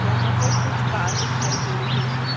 यहाँ पर कुछ कार दिखाई दे रही हैं।